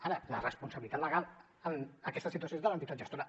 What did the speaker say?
ara la responsabilitat legal en aquesta situació és de l’entitat gestora